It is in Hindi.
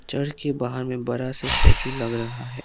चर्च के बाहर में बड़ा से स्टैचू लग रहा है।